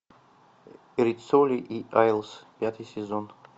риццоли и айлс пятый сезон